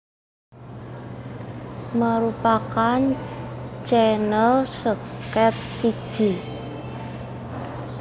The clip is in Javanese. merupakan channel seket siji